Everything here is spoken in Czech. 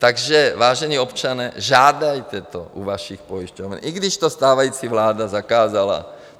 Takže vážení občané, žádejte to u vašich pojišťoven, i když to stávající vláda zakázala.